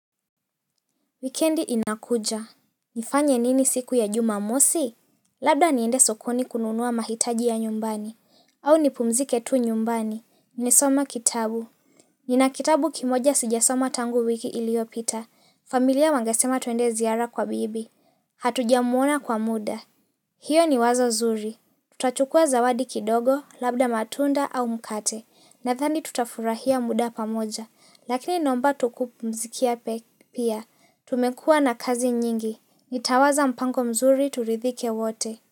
Wikendi inakuja. Nifanye nini siku ya jumamosi? Labda niende sokoni kununua mahitaji ya nyumbani. Au ni pumzike tu nyumbani. Ni some kitabu. Nina kitabu kimoja sijasoma tangu wiki iliopita. Familia wangasema tuende ziara kwa bibi. Hatuja muona kwa muda. Hiyo ni wazo zuri. Tutachukua zawadi kidogo, labda matunda au mkate. Nadhani tutafurahia muda pamoja. Lakini naomba tu kupumzikia pia. Tumekua na kazi nyingi. Nitawaza mpango mzuri turidhike wote.